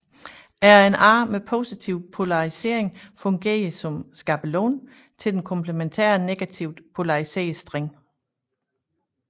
RNA med positiv polarisering fungerer som skabelon til den komplementære negativt polariserede streng